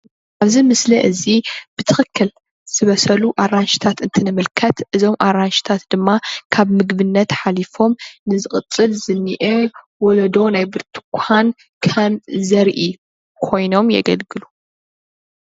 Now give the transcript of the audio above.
ኣብዚ ምስሊ እዚ ብትክክል ዝበሰሉ ኣራንሽታት እንትንምልከት እዞም ኣራንሽታት ድማ ካብ ምግብነት ሓሊፎም ንዝቅፅል ዝኒሀ ወለዶ ናይ ብርትኳን ከም ዘርኢ ኮይኖም የገልግሉ፡፡